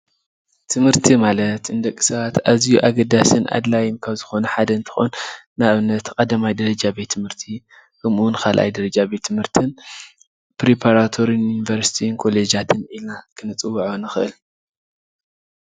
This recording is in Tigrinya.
ትምህርቲ ማለት ንደቂ ሰባት ኣዝዩ ኣገዳሲን ኣድላይን ካብ ዝኮነ ሓደ እንትኮን ንኣብነት 1ይ ደረጃ ቤት ትምህርቲ ከምኡ እውን 2ይ ደረጃ ቤት ትምህርትን ፤ ፕሪፓራቶሪ፣ ዩኒቨርስቲን ኮሌጃትን ኢልና ክንፅዎዖ ንክእል፡፡